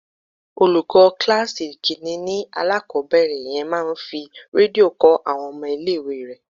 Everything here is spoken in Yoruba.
Olùkọ́ kíláàsì ìkínní ni alákòbẹ̀rẹ̀ yẹn máa ń fi Rédíò kọ́ àwọn ọmọ ilé ìwé rẹ̀.